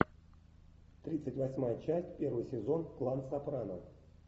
тридцать восьмая часть первый сезон клан сопрано